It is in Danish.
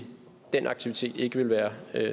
den aktivitet ikke ville være